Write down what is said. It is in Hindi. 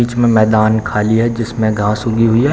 बीच में मैदान खाली है जिसमें घास उगी हुई है।